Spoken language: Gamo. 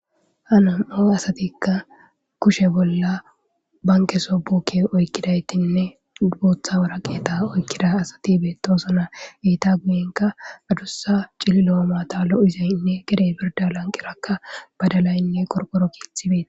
Hanam7o asatikka kushe bolla banke sobokke oykkidaytinne buotha wara qeeta oykkida asati beetosona iita guyenka adussa cili lo7omata lo7izaynne gedey birda lanqirakka badalaynne qorporo kiithibeeti.